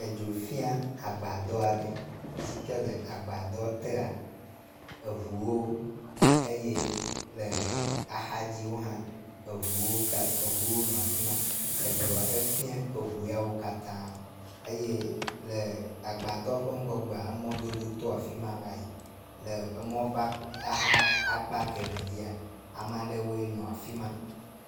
Edzo fia agbadɔ aɖe si ke le agbadɔ tea eŋuwo eye le axa dziwo hã ewo nɔ afi ma, edzo efia eŋu yawo nɔ afi ma, edzo ya fia eŋuwo hã eye le agabdɔ ƒe ŋgɔgbe mɔdodo to afi ma va yi le emɔ… ƒe akpa kemɛ dzia ame aɖewoe nɔ afi ma